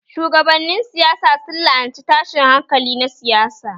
Shugabannin siyasa sun la'anci tashin hankali na siyasa